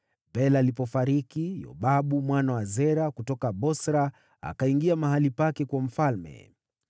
Bela alipofariki, Yobabu mwana wa Zera kutoka Bosra akawa mfalme baada yake.